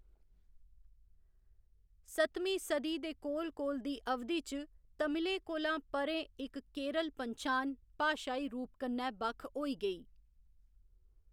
सतमीं सदी दे कोल कोल दी अवधि च तमिलें कोला परें इक केरल पन्छान, भाशाई रूप कन्नै बक्ख होई गई।